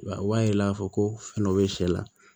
O b'a yira k'a fɔ ko fɛn dɔ be sɛ la